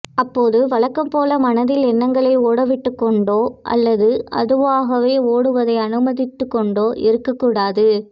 அப்போது வழக்கம்போல மனதில் எண்ணங்களை ஓடவிட்டுக்கொண்டோ அல்லது அதுவாக ஓடுவதை அனுமதித்துக்கொண்டோ இருக்கக்கூடாது